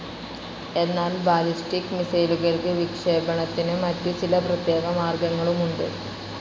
എന്നാൽ ബാലിസ്റ്റിക്‌ മിസ്സൈലുകൾക്ക് വിക്ഷേപണത്തിനു മറ്റു ചില പ്രത്യേക മാർഗങ്ങളുമുണ്ട്.